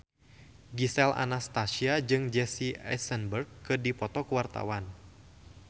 Gisel Anastasia jeung Jesse Eisenberg keur dipoto ku wartawan